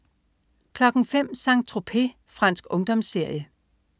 05.00 Saint-Tropez. Fransk ungdomsserie